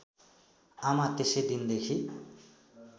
आमा त्यसै दिनदेखि